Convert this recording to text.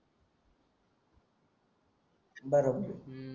बरोबर अं